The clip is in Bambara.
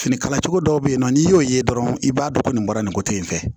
Finikala cogo dɔw bɛ yen nɔ n'i y'o ye dɔrɔn i b'a dɔn ko nin bɔra nin ko in fɛ